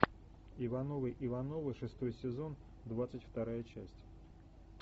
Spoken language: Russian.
ивановы ивановы шестой сезон двадцать вторая часть